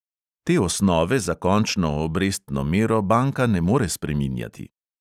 Te osnove za končno obrestno mero banka ne more spreminjati.